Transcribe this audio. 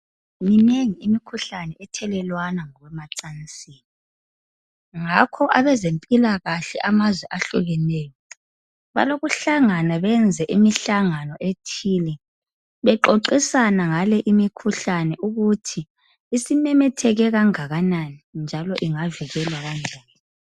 Minengi imikhuhlane ethelelwana ngamacansi. Ngakho abezempilakahle amazwe ahlukeneyo balokuhlangana benze imihlangano ethile bexoxisana ngale imikhuhlane ukuthi isimemetheke kangakanani njalo ingavikelwa kanjani